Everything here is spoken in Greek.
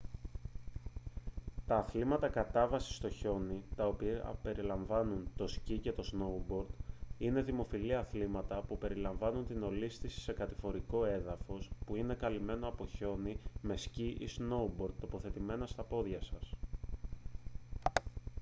τα αθλήματα κατάβασης στο χιόνι τα οποία περιλαμβάνουν το σκι και το σνόουμπορντ είναι δημοφιλή αθλήματα που περιλαμβάνουν την ολίσθηση σε κατηφορικό έδαφος που είναι καλυμμένο από χιόνι με σκι ή με σνόουμπορντ τοποθετημένα στα πόδια σας